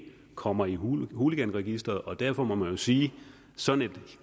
kommer i hooliganregisteret og derfor må man jo sige at sådan et